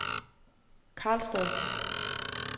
Karlstad